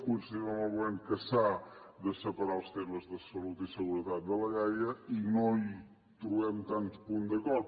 coincidim amb el govern que s’han de separar els temes de salut i seguretat de liiaa i no hi trobem tants punts d’acord